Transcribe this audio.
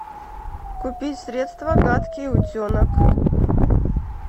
купить средство гадкий утенок